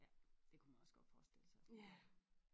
Ja det kunne man også godt forestille sig hun gjorde